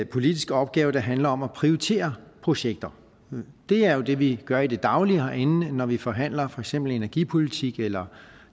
politisk opgave der handler om at prioritere projekter det er jo det vi gør i det daglige herinde når vi forhandler for eksempel energipolitik eller